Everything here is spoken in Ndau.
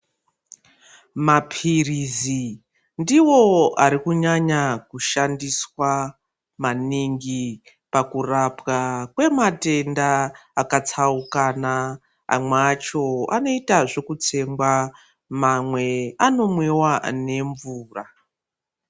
Mapirizi ndiwo Ari kunyanya kushandiswa maningi pakurapwa kwematenda akatsaukana amwe acho anoitwa zvekutsengwa mamwe anomwiwa nemvura.